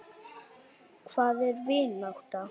Hvað er vinátta?